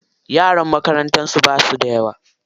Yaran makarantar basu da yawa.